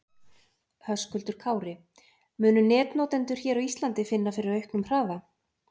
Höskuldur Kári: Munu netnotendur hér á Íslandi finna fyrir auknum hraða?